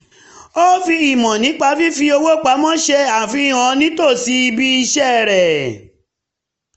ó fi ìmọ̀ nípa fífi owó pamọ́ ṣe àfihàn nítòsí ibi iṣẹ́ rẹ̀